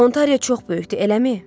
Ontariya çox böyükdür, eləmi?